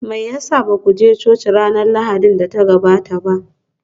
Me ya sa ba ku je coci ranar Lahadin da ta gabata ba?